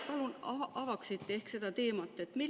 Palun, kas te avaksite seda teemat?